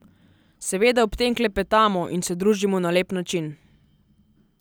Seveda ob tem klepetamo in se družimo na lep način.